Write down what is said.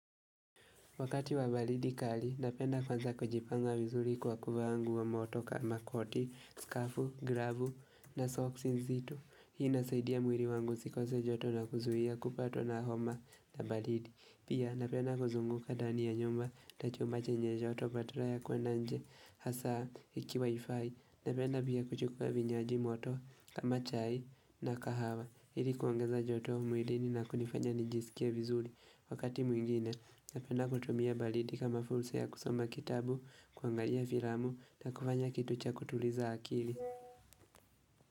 Wakati wa balidi kali, napenda kwanza kujipanga vizuri kwa kuvaa nguo moto kama koti, skafu, gravu na socks nzitu. Hii nasaidia mwiri wangu sikose joto na kuzuhia kupatwa na homa na balidi. Pia napenda kuzunguka dani ya nyumba, tachumache nye joto, badala ya kwa nanje, hasa, iki wifi. Napenda pia kuchukua vinywaji moto, kama chai na kahawa. Ili kuongeza joto mwilini na kunifanya nijisikia wizuri. Wakati mwingine, napenda kutumia balidi kama fulsa ya kusoma kitabu, kuangalia firamu na kufanya kitu cha kutuliza akili.